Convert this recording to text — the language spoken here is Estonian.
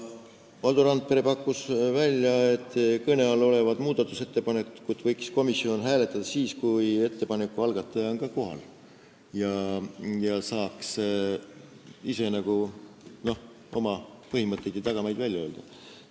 Valdo Randpere pakkus, et kõne all olevat muudatusettepanekut võiks hääletada siis, kui ettepaneku algataja on ka kohal ning saaks ise oma põhimõtteid ja tagamaid selgitada.